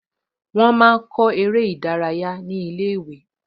Wọ́n máa kọ eré ní ilé-ìwé